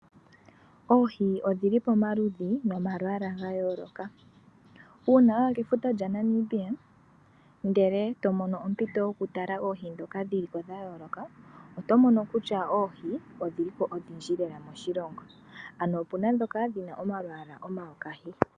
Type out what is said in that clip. Oohi odhili pomalushi nomalwaala ga yooloka. Uuna waya kefuta lya Namibia ndele tomono ompito yoku tala oohi ndhoka dhiliko dha yooloka otomono kutya oohi odhilimo lela dha yooloka moshilongo ano opuna ndhoka dhina omalwaala omayokahi.